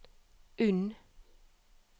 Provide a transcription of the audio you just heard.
Unn